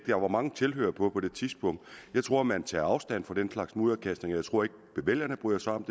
der var mange tilhørere på det tidspunkt jeg tror man tager afstand fra den slags mudderkastning og jeg tror ikke vælgerne bryder sig om